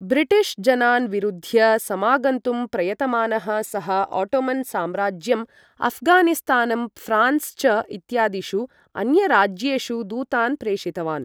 British जनान् विरुध्य समागन्तुं प्रयतमानः सः ओटोमन् साम्राज्यम्, अफ़गानिस्तानम्, फ्रान्स् च इत्यादिषु अन्यराज्येषु दूतान् प्रेषितवान्।